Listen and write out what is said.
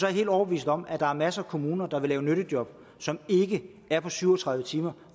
jeg helt overbevist om at der er masser af kommuner der vil lave nyttejob som ikke er på syv og tredive timer